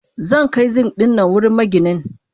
Zankai Zink dinnan wurin maginin.